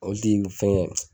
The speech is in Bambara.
Olu de ye nin fɛngɛ.